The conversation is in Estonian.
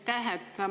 Aitäh!